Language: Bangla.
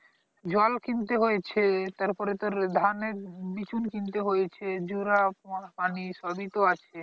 জল কিনতে হয়েছে তারপরে তোর ধানের বিচুন কিনতে হয়েছে জোড়া পানি সবই তো আছে